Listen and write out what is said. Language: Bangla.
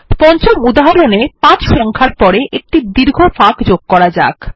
পঞ্চম উদাহরণে ৫ সংখ্যার পরে একটি দীর্ঘ ফাঁক যোগ করা যাক